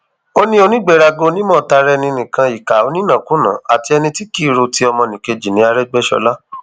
ó ní onígbéraga onímọ tara ẹni nìkan ìkà onínàkunàá àti ẹni tí kì í ro ti ọmọnìkejì ní àrègbéṣọlá